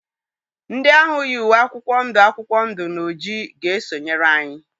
Ndị ahụ yi uwe akwụkwọ ndụ akwụkwọ ndụ na ojii ga-esonyere anyị?